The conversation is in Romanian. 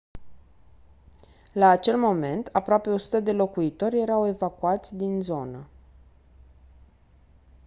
la acel moment aproape 100 de locuitori erau evacuați din zonă